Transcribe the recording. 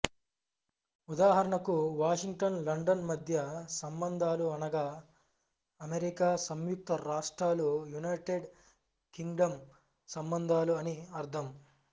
ఉదాహరణకు Washington London మధ్య సంబంధాలు అనగా అమెరికా సంయుక్త రాష్ట్రాలు యునైటెడ్ కింగ్డమ్ సంబంధాలు అని అర్ధం